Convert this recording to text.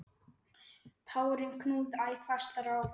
Tárin knúðu æ fastar á.